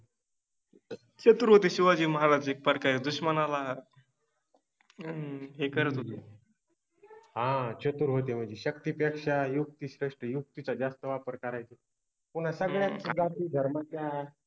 चतुर होते शिवाजि महाराज एकप्रकारे दुश्मनाला हे करत होते. हा चतुअर होते मनजे शक्तिपेक्षा युक्ति श्रेष्ठ, युक्तिचा जास्त वापर करायचे, पुन्हा सगळ्याच जाति धर्माच्या